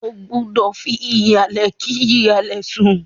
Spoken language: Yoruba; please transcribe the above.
Ó gbúdọ̀ fi ìhàlẹ́ kí hàlẹ̀ sùn.